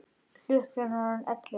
Klukkan er orðin ellefu.